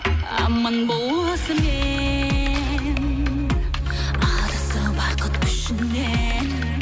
аман бол осымен адасты бақыт күшінен